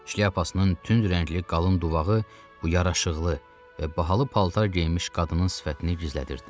Şlyapasının tünd rəngli qalın duvağı bu yaraşıqlı və bahalı paltar geyinmiş qadının sifətini gizlədirdi.